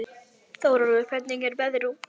Þórólfur, hvernig er veðrið úti?